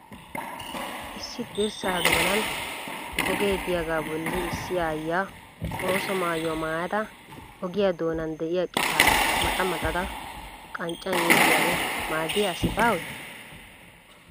Issi dirssa doonan ogee diyagaa bolli issi aayyiya ooso maayuwa maayada ogiya doonan diya qitaa maxa maxada qanccan yeggiyaaro maaddiya asi baawee?